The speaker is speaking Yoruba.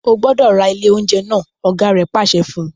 O gbọdọ ra ile ounjẹ naa! ọ̀gá rẹ̀ pàṣẹ fún un.